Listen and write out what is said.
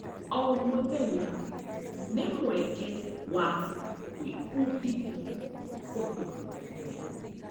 O mũthenya nĩ mweke wa gwĩbundithia ũndũ mwerũ.